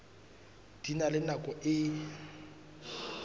di na le nako e